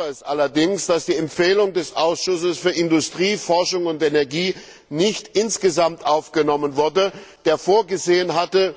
Ich bedauere es allerdings, dass die Empfehlung des Ausschusses für Industrie, Forschung und Energie nicht insgesamt aufgenommen wurde, der vorgesehen hatte,